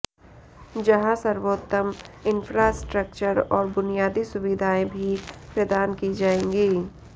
जहां सर्वोत्तम इंफ्रास्ट्रक्चर और बुनियादी सुविधाएं भी प्रदान की जाएंगी